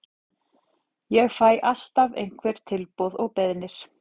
Ég fæ alltaf einhver tilboð og beiðnir.